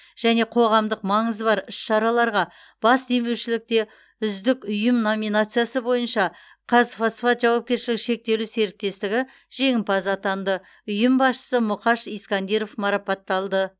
және қоғамдық маңызы бар іс шараларға бас демеушілікте үздік ұйым номинациясы бойынша қазфосфат жауапкершілігі шектеулі серіктестігі жеңімпаз атанды ұйым басшысы мұқаш искандиров марапатталды